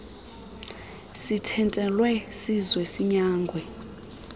sithintelwe size sinyangwe